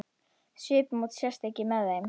Svipmót ekki sést með þeim.